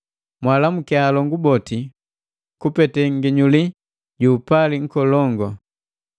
Mwaalamukiya alongu boti kupete nginyuli ju upali nkolongu.